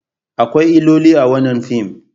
Akwai illoli a wannan fim.